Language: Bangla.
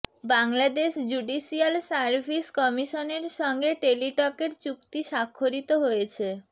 বাংলাদেশ জুডিশিয়াল সার্ভিস কমিশনের সঙ্গে টেলিটকের চুক্তি স্বাক্ষরিত হয়েছে